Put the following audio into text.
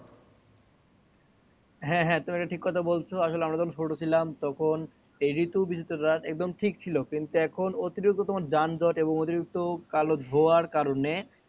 হ্যা হ্যা আমরা যখন ছোটো ছিলাম তখন এই ঋতু ঠিক ছিল কিন্তু এখন অতিরিক্ত তোমার যানজট অতিরিক্ত কালো ধোঁয়ার কারণে